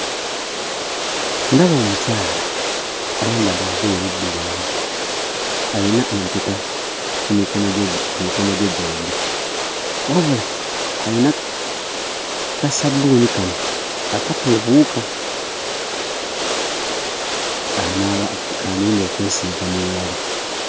Ndaba omukyala, ayambadde olugoye luddugavu, ayina empeta ku mikono gye ku mikono gye gyombi. Wabula alina kassabbuuni kano akatta obuwuka anaaba k'agenda okwesiiga mu ngalo.